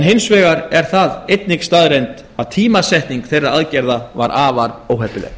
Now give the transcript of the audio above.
hins vegar er það einnig staðreynd að tímasetning þeirra aðgerða var afar óheppileg